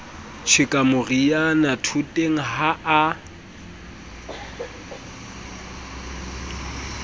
tjheka moriana thoteng ha a